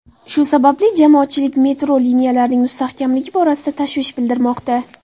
Shu sababli jamoatchilik metro liniyalarining mustahkamligi borasida tashvish bildirmoqda.